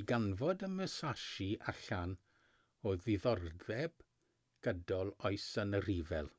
i ganfod y musashi allan o ddiddordeb gydol oes yn y rhyfel